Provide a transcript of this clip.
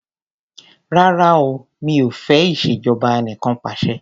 Rárá o mi ò fẹ́ ìṣèjọba anìkanpàṣẹ.